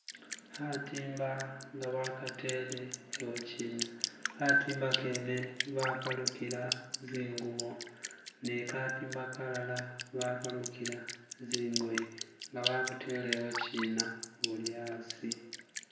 Katimba nga bakateere eyokyina, katimba keene bakalukira zingubo, ne katimba kalara bakalukira zingoye nga babuteere ewokyina buli yasi.